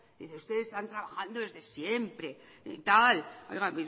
dice ustedes están trabajando desde siempre y tal oiga